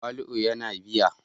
Tawali'u yana biya